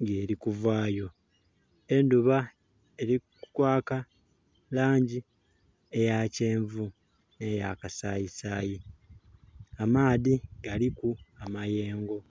nga eri kuvayo. Endhuba eri kwaka elangi eya kyenvu ne ya kasayisayi. Amaadhi galiku amayengo.